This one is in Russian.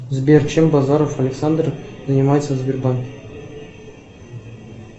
сбер чем базаров александр занимается в сбербанке